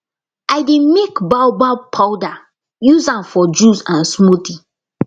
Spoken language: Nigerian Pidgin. i dey make baobab powder use am for juice and smoothie